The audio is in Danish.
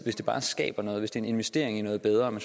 hvis det bare skaber noget hvis det er en investering i noget bedre men